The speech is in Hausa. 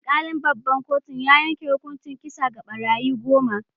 Alkalin babban kotun ya yanke hukuncin kisa ga barayi goma.